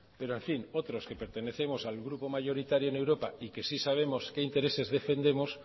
pero en fin otros que pertenecemos al grupo mayoritario en europa y que sí sabemos qué intereses defendemos